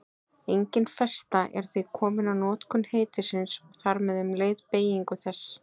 Engin festa er því komin á notkun heitisins og þar með um leið beygingu þess.